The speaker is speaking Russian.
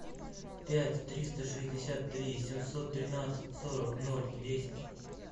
пять триста шестьдесят три семьсот тринадцать сорок ноль десять